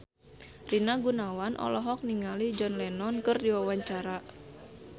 Rina Gunawan olohok ningali John Lennon keur diwawancara